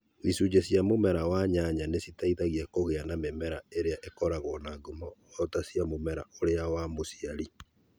Icunjĩ cia mũmera wa nyanya nĩ citeithagia kũgĩa na mĩmera ĩrĩa ĩkoragwo na ngumo o ta cia mũmera ũrĩa wa mũciari